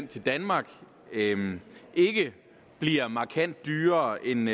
til danmark ikke bliver markant dyrere end